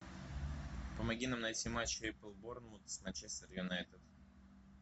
помоги нам найти матч апл борнмут с манчестер юнайтед